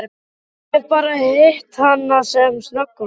Ég hef bara hitt hana sem snöggvast.